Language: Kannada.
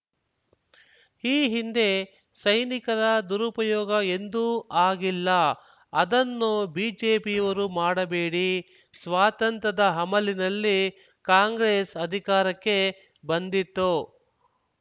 ಈ ಹಿಂದೆ ಸೈನಿಕರ ದುರುಪಯೋಗ ಎಂದೂ ಆಗಿಲ್ಲ ಅದನ್ನು ಬಿಜೆಪಿಯವರು ಮಾಡಬೇಡಿ ಸ್ವಾತಂತ್ರ್ಯದ ಅಮಲಿನಲ್ಲಿ ಕಾಂಗ್ರೆಸ್ ಅಧಿಕಾರಕ್ಕೆ ಬಂದಿತ್ತು